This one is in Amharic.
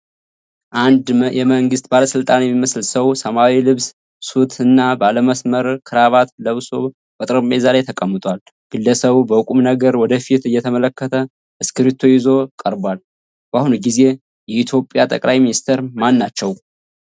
ንድ የመንግሥት ባለሥልጣን የሚመስል ሰው ሰማያዊ ልብስ (ሱት) እና ባለመስመር ክራባት ለብሶ በጠረጴዛ ላይ ተቀምጧል። ግለሰቡ በቁም ነገር ወደፊት እየተመለከተ እስክርቢቶ ይዞ ቀርቧል። በአሁኑ ጊዜ የኢትዮጵያ ጠቅላይ ሚኒስትር ማናቸው?